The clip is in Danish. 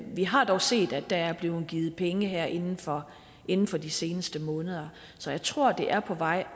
vi har dog set at der er blevet givet penge her inden for inden for de seneste måneder så jeg tror det er på vej